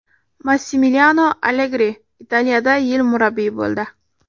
Massimiliano Allegri Italiyada yil murabbiyi bo‘ldi.